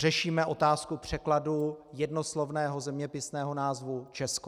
Řešíme otázku překladu jednoslovného zeměpisného názvu Česko.